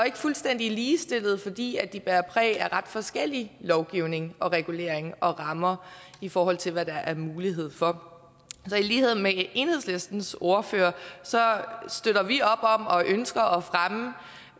ikke fuldstændig ligestillede fordi de bærer præg af ret forskellig lovgivning regulering og rammer i forhold til hvad der er mulighed for så i lighed med enhedslistens ordfører støtter vi op om og ønsker